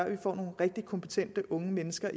at få nogle rigtige kompetente unge mennesker